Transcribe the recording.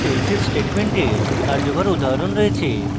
এখানে ifelsif স্টেটমেন্টের কার্যকর উদাহরণ রয়েছে